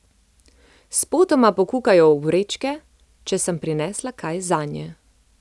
Spotoma pokukajo v vrečke, če sem prinesla kaj zanje.